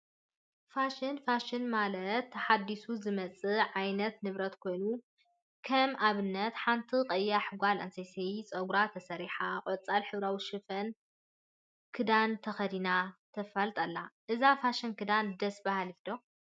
ፋሽን ፋሽን ማለተ ተሓዲሱ ዝመፅ ዓይነት ንብረት ኮይኑ፤ ከም አብነት ሓንቲ ቀያሕ ጓል አንስተይቲ ፀጉራ ተሰሪሓ ቆፃል ሕብራዊ ፋሽን ክዳን ተከዲና ተፋልጥ አላ፡፡ እዛ ፋሽን ክዳን ደስ በሃሊት ዶ?